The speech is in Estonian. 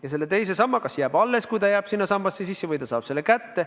Ja selle teise samba puhul ta võib otsustada, kas ta jääb sinna edasi või ta saab selle raha kätte.